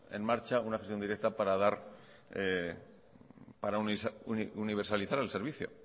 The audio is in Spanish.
en marcha una acción directa para universalizar el servicio